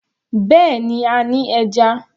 Bẹ́ẹ̀ni, a ní ẹja.